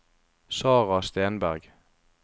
Sarah Stenberg